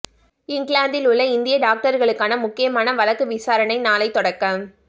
இங்கிலாந்தில் உள்ள இந்திய டாக்டர்களுக்கான முக்கியமான வழக்கு விசாரணை நாளை தொடக்கம்